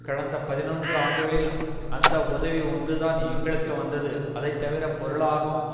கடந்த பதினொன்று ஆண்டுகளில் அந்த உதவி ஒன்றுதான் எங்களுக்கு வந்தது அதை தவிர பொருளாகவும்